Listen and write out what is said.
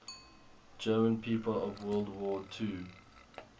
german people of world war ii